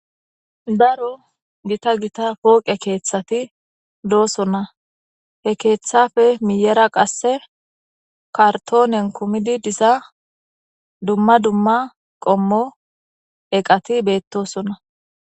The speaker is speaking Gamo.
daro gita gita pooqe keeththati doosonna he keeththafe miyera qasse kartoonen kumidi disa dumma dumma qommo eqati beettosona